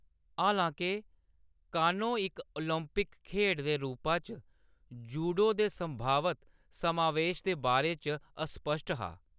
हालांके, कानो इक ओलंपिक खेढ दे रूपा च जूडो दे संभावत समावेश दे बारे च अस्पश्ट हा।